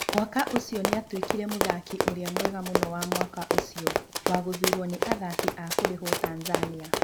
Mwaka ũcio nĩ aatuĩkire mũthaki ũrĩa mwega mũno wa mwaka ũcio wa gũthuurwo nĩ athaki a kũrĩhũo Tanzania.